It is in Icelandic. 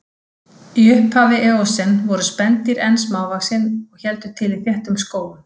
Í upphafi eósen voru spendýr enn smávaxin og héldu til í þéttum skógum.